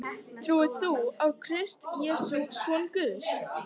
Trúir þú á Krist Jesú, son Guðs,